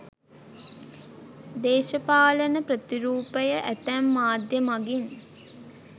දේශපාලන ප්‍රතිරූපය ඇතැම් මාධ්‍ය මගින්